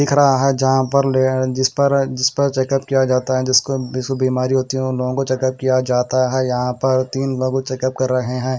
लिख रहा है जहां पर जिस पर जिस पर चेक-अप किया जाता है जिसको जिसको बीमारी होती है उन लोगों को चेक अप किया जाता है यहां पर तीन लोगों को चेक अप कर रहे हैं।